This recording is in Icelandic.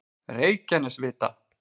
Reykjanesvita